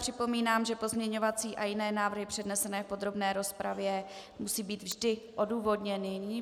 Připomínám, že pozměňovací a jiné návrhy přednesené v podrobné rozpravě musí být vždy odůvodněny.